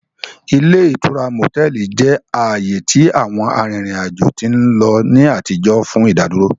Ile itura motẹlì jẹ aaye ti àwọn arìrìn ajo ti nlo ni àtijọ́ fun ìdádúró.